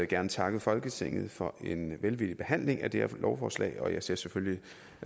gerne takke folketinget for en velvillig behandling af det her lovforslag og jeg ser selvfølgelig